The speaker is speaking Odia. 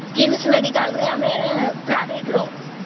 KIIS medical ରେ ଆମେ private ର